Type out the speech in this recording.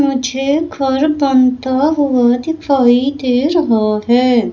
मुझे घर बनता हुआ दिखाई दे रहा है।